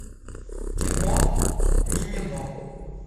кино мимино